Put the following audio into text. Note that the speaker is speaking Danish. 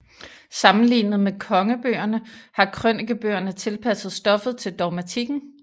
Sammenlignet med Kongebøgerne har Krønikebøgerne tilpasset stoffet til dogmatikken